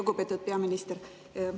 Lugupeetud peaminister!